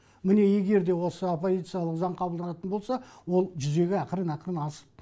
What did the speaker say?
міне егер де осы оппозициялық заң қабылданатын болса ол жүзеге ақырын ақырын асып